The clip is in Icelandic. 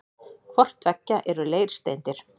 Hvort tveggja eru leirsteindir.